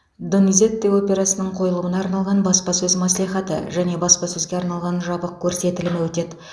дониззети операсының қойылымына арналған баспасөз мәслихаты және баспасөзге арналған жабық көрсетілімі өтеді